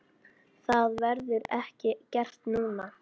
Það verður ekki gert núna.